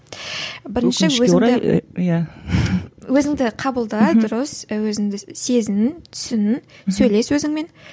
өзіңді қабылда дұрыс і өзіңді сезін түсін сөйлес өзіңмен